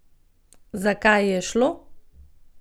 Za kaj je šlo?